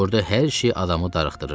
Burda hər şey adamı darıxdırırdı.